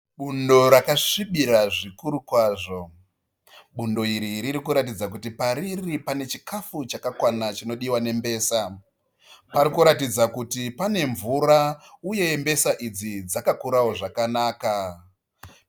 Bundo rakasvibira zvikuru kwazvo. Bundo iri rikuratidza kuti pariri pane chikafu chakakwana chinodiwa nembesa. Pari kuratidza kuti pane mvura uye mbesa idzi dzakakura zvakanaka.